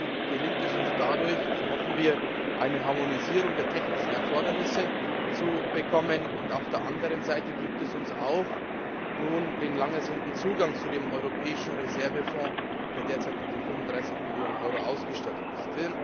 Zum einen gelingt es uns dadurch so hoffen wir eine Harmonisierung der technischen Erfordernisse zu bekommen, auf der anderen Seite gibt es uns nun auch den lang ersehnten Zugang zu dem Europäischen Reservefonds, der derzeit mit 35 Millionen Euro ausgestattet ist.